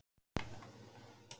Hemmi lítur í baksýnisspegilinn.